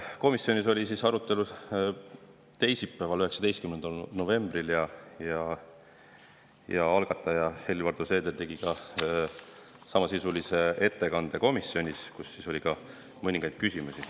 Komisjonis toimus arutelu teisipäeval, 19. novembril ja algataja Helir-Valdor Seeder tegi seal samasisulise ettekande, mille kohta tekkis ka mõningaid küsimusi.